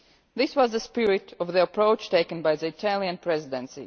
This was the spirit of the approach taken by the Italian Presidency.